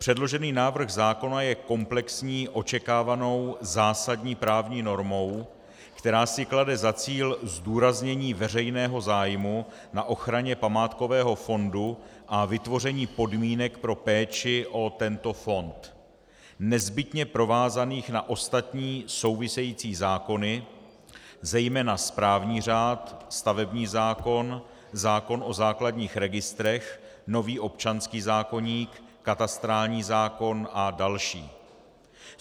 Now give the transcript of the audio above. Předložený návrh zákona je komplexní očekávanou zásadní právní normou, která si klade za cíl zdůraznění veřejného zájmu na ochraně památkového fondu a vytvoření podmínek pro péči o tento fond nezbytně provázaných na ostatní související zákony, zejména správní řád, stavební zákon, zákon o základních registrech, nový občanský zákoník, katastrální zákon a další.